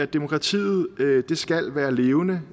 demokratiet skal være levende